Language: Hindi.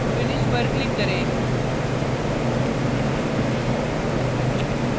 finish पर click करें